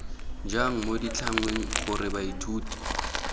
jang mo ditlhangweng gore baithuti